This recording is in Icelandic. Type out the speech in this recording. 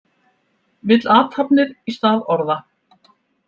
Vill athafnir í stað orða